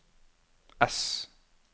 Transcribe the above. S